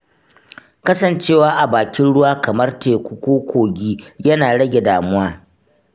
Kasancewa a bakin ruwa kamar teku ko kogi yana rage damuwa.